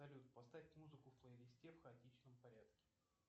салют поставь музыку в плейлисте в хаотичном порядке